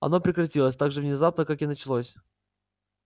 оно прекратилось так же внезапно как и началось